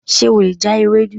Ṣe o le ja Ewedu?